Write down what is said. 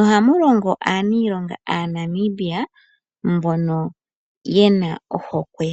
Ohamu longo aaaniilonga Aanamibia mbono ye na ohokwe.